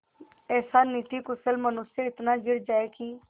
ऐसा नीतिकुशल मनुष्य इतना गिर जाए कि